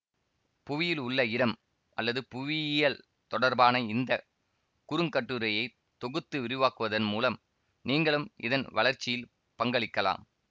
புவியில் உள்ள இடம் அல்லது புவியியல் தொடர்பான இந்த குறுங்கட்டுரையை தொகுத்து விரிவாக்குவதன் மூலம் நீங்களும் இதன் வளர்ச்சியில் பங்களிக்கலாம்